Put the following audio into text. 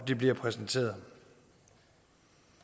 det bliver præsenteret